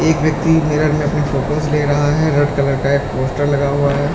एक व्यक्ति मिरर में अपनी फोटोस ले रहा है रेड कलर का एक पोस्टर लगा हुआ है और ए--